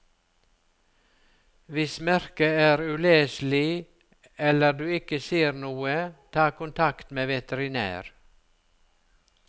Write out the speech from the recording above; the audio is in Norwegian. Hvis merket er uleselig, eller du ikke ser noe, ta kontakt med veterinær.